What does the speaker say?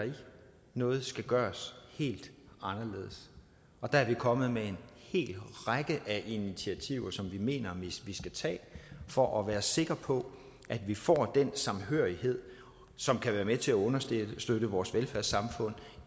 noget skal gøres helt anderledes og der er vi kommet med en hel række af initiativer som vi mener vi skal tage for at være sikker på at vi får den samhørighed som kan være med til at understøtte vores velfærdssamfund